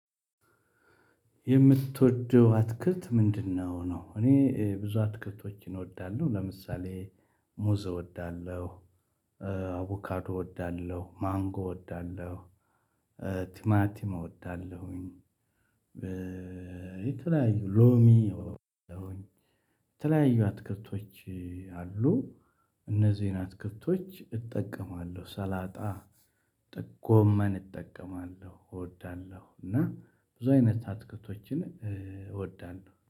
የምትወደው አትክልት ምንድነው ነው? እኔ ብዙ አትክልቶችን እወዳለሁ ለምሳሌ ሙዝ እወዳለሁ እ አቮካዶ እወዳለሁ ማንጎ እወዳለሁ እ ቲማቲም እወዳለሁኝ። በ የተለያዩ ሎሚ እወዳለሁኝ። ተለያዩ አትክልቶች አሉ። እነዚህ አትክልቶች እጠቀማለሁ ሰላጣ ጠ ጎመን እጠቀማለሁ እወዳለሁ እና ብዙ አይነት አትክልቶችን እወዳለሁ